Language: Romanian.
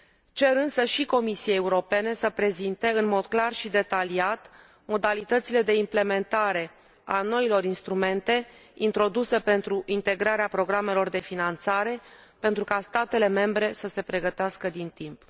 Cer însă și Comisiei Europene să prezinte, în mod clar și detaliat, modalitățile de implementare a noilor instrumente introduse pentru integrarea programelor de finanțare, pentru ca statele membre să se pregătească din timp.